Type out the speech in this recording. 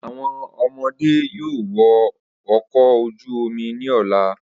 Awọn ọmọde yoo wọ ọkọ oju omi ni ọla.